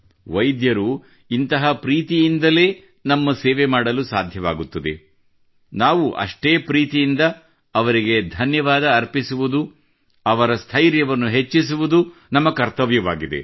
ವೈದ್ಯರು ಇಂತಹ ಪ್ರೀತಿಯಿಂದಲೇ ನಮ್ಮ ಸೇವೆ ಮಾಡಲು ಸಾಧ್ಯವಾಗುತ್ತದೆ ನಾವು ಅಷ್ಟೇ ಪ್ರೀತಿಯಿಂದ ಅವರಿಗೆ ಧನ್ಯವಾದ ಅರ್ಪಿಸುವುದು ಅವರ ಸ್ಥೈರ್ಯವನ್ನು ಹೆಚ್ಚಿಸುವುದು ನಮ್ಮ ಕರ್ತವ್ಯವಾಗಿದೆ